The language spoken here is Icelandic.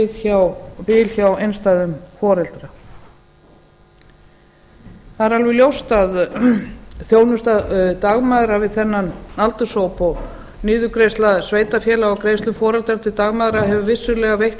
hjá einstæðum foreldrum það er alveg ljóst að þjónusta dagmæðra við þennan aldurshóp og niðurgreiðsla sveitarfélaga á greiðslum foreldra til dagmæðra hefur vissulega veitt